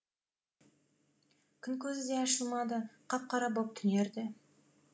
күн көзі де ашылмады қап қара боп түнерді